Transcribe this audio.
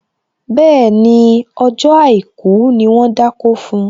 Bẹ́ẹ̀ni, ọjọ́ àìkú ni wón dákó fun